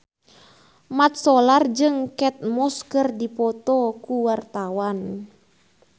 Mat Solar jeung Kate Moss keur dipoto ku wartawan